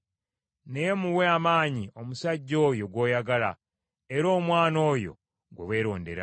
Naye muwe amaanyi omusajja oyo gw’oyagala era omwana oyo gwe weerondera.